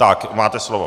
Tak, máte slovo.